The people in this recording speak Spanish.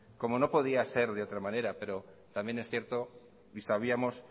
como no podía ser de otra manera pero también es cierto y sabíamos